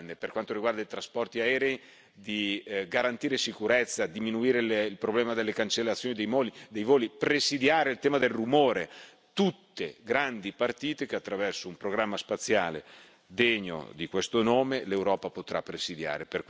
per quanto riguarda i trasporti aerei, di garantire sicurezza, diminuire il problema delle cancellazioni dei voli, presidiare il tema del rumore tutte grandi partite che, attraverso un programma spaziale degno di questo nome, l'Europa potrà presidiare.